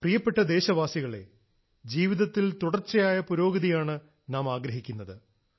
പ്രിയപ്പെട്ട ദേശവാസികളേ ജീവിതത്തിൽ തുടർച്ചയായ പുരോഗതിയാണ് നാം ആഗ്രഹിക്കുന്നത്